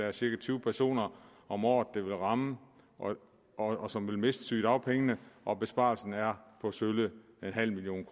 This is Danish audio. er cirka tyve personer om året det vil ramme og som vil miste sygedagpengene og besparelsen er på sølle nul million